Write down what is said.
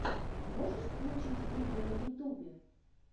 можешь включить фильмы на ютубе